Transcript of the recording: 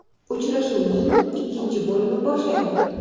Uchrashuvning ikkinchi bo‘limi boshlandi.